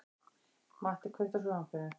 Matti, kveiktu á sjónvarpinu.